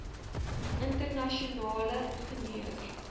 interna sionale ingenieur